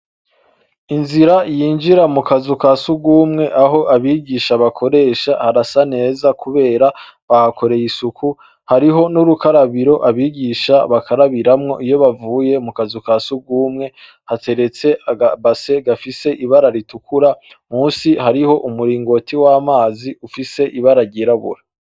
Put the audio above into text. Inzira yinjira mukazu kasugumwe aho abigisha bakoresha harasa neza kubera bahakoreye isuku hariho nurukarabiro abigisha bakarabiramwo iyo bavuye mukazu kasugumwe hateretse aka basin kibara ritukura munsi hariho umuringoti wamazi ufise ibara ryirabura